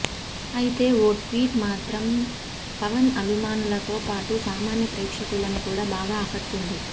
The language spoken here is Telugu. అయితే ఓ ట్వీట్ మాత్రం పవన్ అభిమానులతో పాటు సామాన్య ప్రేక్షలను కూడా బాగా ఆకట్టుకుంది